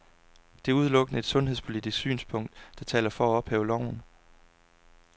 Det er udelukkende et sundhedspolitisk synspunkt, der taler for at ophæve loven.